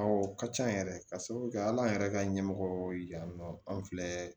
Awɔ o ka ca yɛrɛ ka sababu kɛ hali an yɛrɛ ka ɲɛmɔgɔw ye yan nɔ an filɛ